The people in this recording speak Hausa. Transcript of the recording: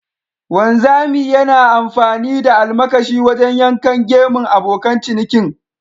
Wanzami yana amfani da almakashi wajen yankan gemun abokan cinikin.